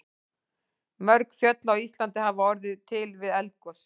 Mörg fjöll á Íslandi hafa orðið til við eldgos.